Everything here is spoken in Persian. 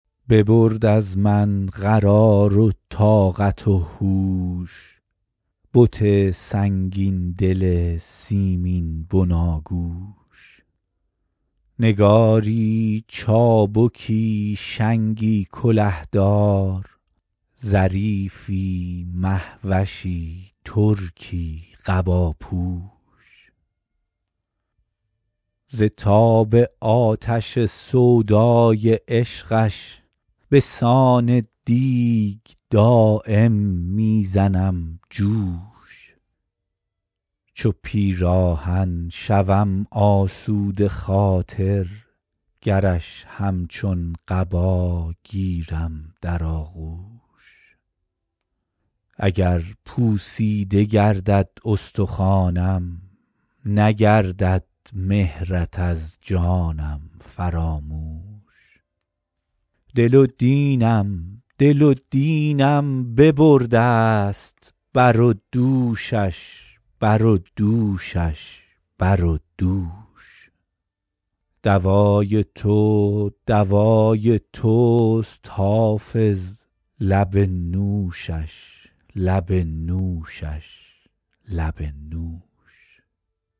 ببرد از من قرار و طاقت و هوش بت سنگین دل سیمین بناگوش نگاری چابکی شنگی کله دار ظریفی مه وشی ترکی قباپوش ز تاب آتش سودای عشقش به سان دیگ دایم می زنم جوش چو پیراهن شوم آسوده خاطر گرش همچون قبا گیرم در آغوش اگر پوسیده گردد استخوانم نگردد مهرت از جانم فراموش دل و دینم دل و دینم ببرده ست بر و دوشش بر و دوشش بر و دوش دوای تو دوای توست حافظ لب نوشش لب نوشش لب نوش